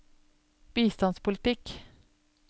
bistandspolitikk